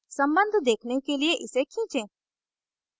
सम्बन्ध देखने के लिए इसे खींचें